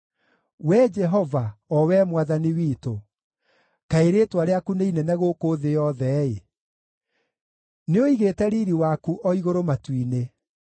Wee Jehova, o Wee Mwathani witũ, kaĩ rĩĩtwa rĩaku nĩ inene gũkũ thĩ yothe-ĩ! Nĩũigĩte riiri waku o igũrũ matu-inĩ.